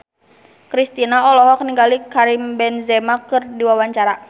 Kristina olohok ningali Karim Benzema keur diwawancara